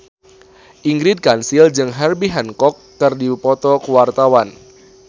Ingrid Kansil jeung Herbie Hancock keur dipoto ku wartawan